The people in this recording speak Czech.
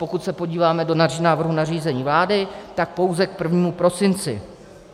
Pokud se podíváme do návrhu nařízení vlády, tak pouze k 1. prosinci.